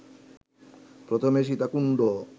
প্রথমে সীতাকুণ্ড